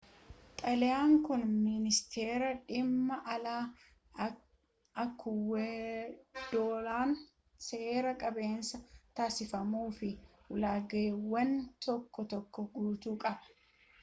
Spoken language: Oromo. xalayaan kun ministeera dhimma alaa ikuwaadoor'n seera qabeessa taasifamuu fi ulaagaawwan tokko tokko guutuu qaba